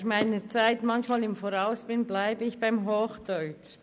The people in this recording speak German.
Da ich meiner Zeit manchmal voraus bin, bleibe ich beim Hochdeutschen.